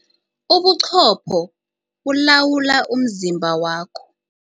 Ubuqopho bulawula umzimba wakho.